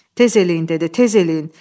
Tez eləyin dedi, tez eləyin.